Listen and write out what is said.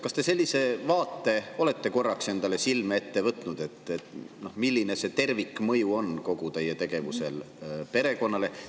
Kas te sellise vaate olete korraks endale silme ette võtnud, milline on kogu teie tegevuse tervikmõju peredele?